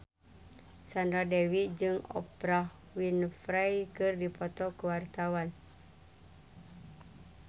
Sandra Dewi jeung Oprah Winfrey keur dipoto ku wartawan